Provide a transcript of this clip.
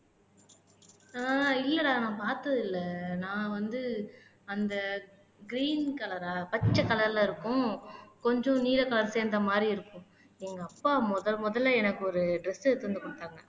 ஆஹ் இல்லடா நான் பார்த்தது இல்லை நான் வந்து அந்த க்ரீன் கலர்ரா ஆஹ் பச்சை கலர்ல இருக்கும் கொஞ்சம் நீல கலர் சேர்ந்த மாதிரி இருக்கும் எங்க அப்பா முதல் முதல்ல எனக்கு ஒரு டிரெஸ் எடுத்திட்டு வந்து கொடுத்தாங்க